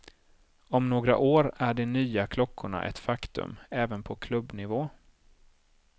Om några år är de nya klockorna ett faktum även på klubbnivå.